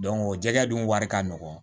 o jɛgɛ dun wari ka nɔgɔn